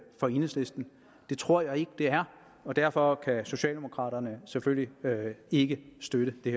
fra enhedslisten det tror jeg ikke det er og derfor kan socialdemokraterne selvfølgelig ikke støtte det